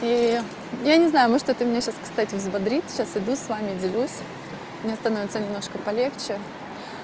и я не знаю может это меня сейчас кстати взбодрит сейчас иду с вами делюсь мне становится немножко полегче